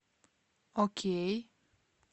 окей